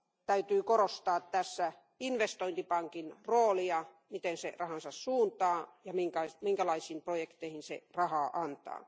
Täytyy korostaa tässä investointipankin roolia, miten se rahansa suuntaa ja minkälaisiin projekteihin se rahaa antaa.